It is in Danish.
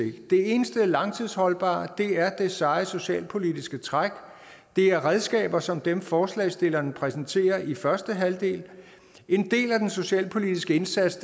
det eneste langtidsholdbare er det seje socialpolitiske træk det er redskaber som dem forslagsstillerne præsenterer i første halvdel en del af den socialpolitiske indsats